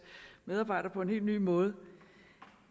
medarbejdere på en helt ny måde